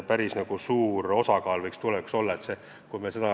Päris suur osakaal seega!